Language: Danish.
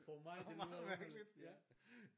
For mig det lyder underligt ja